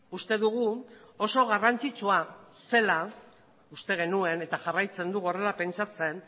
uste dugu oso garrantzitsua zela uste genuen eta jarraitzen dugu horrela pentsatzen